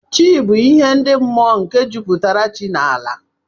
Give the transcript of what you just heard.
Chi bu ihe ndi mụọ nke juputara chi na ala.